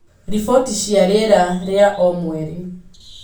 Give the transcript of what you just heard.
riboti cia rĩera rĩa o mweri